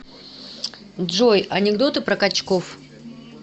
джой анекдоты про качков